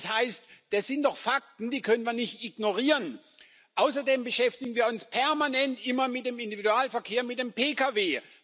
Das heißt, das sind doch Fakten, die können wir nicht ignorieren! Außerdem beschäftigen wir uns permanent immer mit dem Individualverkehr, mit dem Pkw.